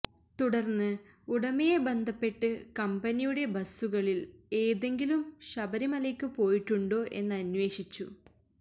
തുടര്ന്ന് ഉടമയെ ബന്ധപ്പെട്ട് കമ്പനിയുടെ ബസുകളില് ഏതെങ്കിലും ശബരിമലയ്ക്ക് പോയിട്ടുണ്ടൊ എന്നന്വേഷിച്ചു